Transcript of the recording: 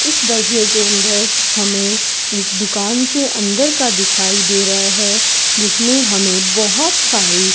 इस दश्य हमें एक दुकान के अंदर का दिखाई दे रहा है जिसमें हमें बहोत सारी --